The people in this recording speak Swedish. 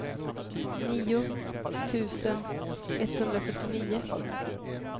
nio tusen etthundrafyrtionio